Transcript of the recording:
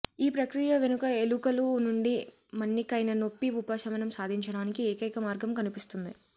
ఈ ప్రక్రియ వెనుక ఎలుకలు నుండి మన్నికైన నొప్పి ఉపశమనం సాధించడానికి ఏకైక మార్గం కనిపిస్తుంది